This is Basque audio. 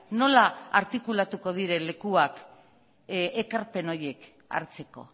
nola artikulatuko diren lekuak ekarpen horiek hartzeko